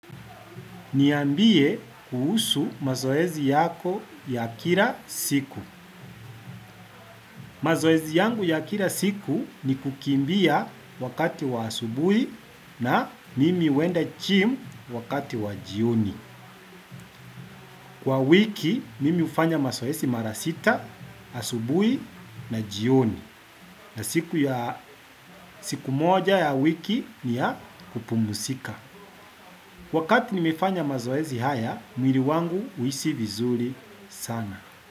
Niambie kuhusu mazoezi yako ya kila siku. Mazoezi yangu ya kila siku ni kukimbia wakati wa asubuhi na mimi huenda gym wakati wa jioni. Kwa wiki, mimi hufanya mazoezi mara sita, asubuhi na jioni. Na siku moja ya wiki ni ya kupumzika. Wakati nimefanya mazoezi haya, mwili wangu huhisi vizuri sana.